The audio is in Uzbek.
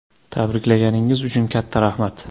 “Tabriklaganingiz uchun katta rahmat.